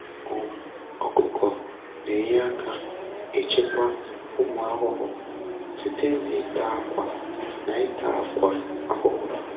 um Ọkụkọ na-enye aka ịchịkwa ụmụ ahụhụ site na-ịta akwa na-ịta akwa ahụhụ